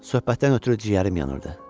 Söhbətdən ötrü ciyərim yanırdı.